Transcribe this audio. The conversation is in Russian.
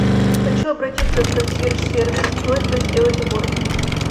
хочу обратиться в консьерж сервис с просьбой сделать уборку